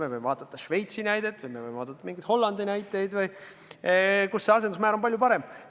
Me võime vaadata Šveitsi näidet või Hollandi näidet, seal on asendusmäär palju suurem.